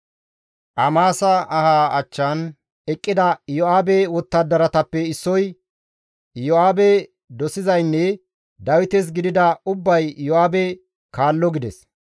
Amasa aha achchan eqqida Iyo7aabe wottadaratappe issoy, «Iyo7aabe dosizaynne Dawites gidida ubbay Iyo7aabe kaallo!» gides.